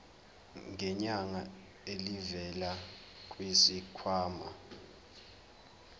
ngenyanga elivela kwisikhwama